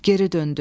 Geri döndü.